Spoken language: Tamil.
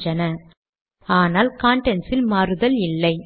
தானியங்கியாக தேதி தோன்றுவதை இப்போது